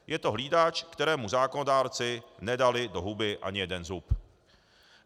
Je to hlídač, kterému zákonodárci nedali do huby ani jeden zub.